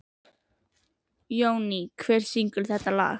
Jóný, hver syngur þetta lag?